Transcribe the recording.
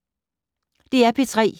DR P3